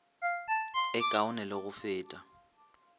e kaone le go feta